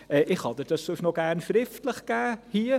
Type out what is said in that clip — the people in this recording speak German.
Ich kann Ihnen dies sonst gerne noch schriftlich geben.